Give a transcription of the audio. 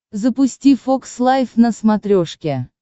запусти фокс лайф на смотрешке